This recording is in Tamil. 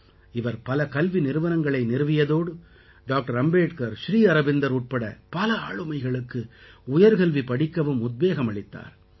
இவர் பல கல்வி நிறுவனங்களை நிறுவியதோடு டாக்டர் அம்பேட்கர் ஸ்ரீ அரவிந்தர் உட்பட பல ஆளுமைகளுக்கு உயர்கல்வி படிக்கவும் உத்வேகம் அளித்தார்